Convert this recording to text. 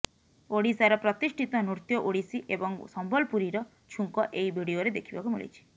ଓଡିଶାର ପ୍ରତିଷ୍ଠିତ ନୃତ୍ୟ ଓଡିଶୀ ଏବଂ ସମ୍ବଲପୁରୀର ଛୁଙ୍କ ଏହି ଭିଡିଓରେ ଦେଖିବାକୁ ମିଳିଛି